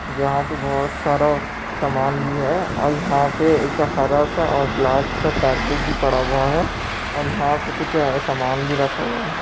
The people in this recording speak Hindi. जहाँ पे बोहोत सारा समान भी है और यहाँ पे एक हरा सा और ब्लैक सा कारपेट भी पड़ा हुआ है और यहाँ पे कुछ ए समान भी रखा हुआ है